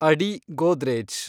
ಅಡಿ ಗೋದ್ರೇಜ್